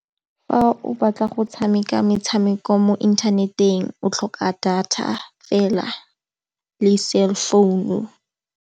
Fa o batla go tshameka metshameko mo inthaneteng o tlhoka data fela le cellphone-u.